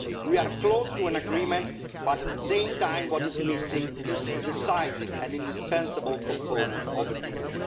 We are close to an agreement, but at the same time what is missing is a decisive and indispensable component of a deal.